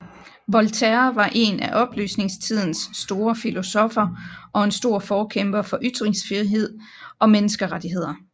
Voltaire var en af oplysningstidens store filosoffer og en stor forkæmper for ytringsfrihed og menneskerettigheder